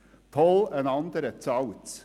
«Toll, ein anderer zahlt!».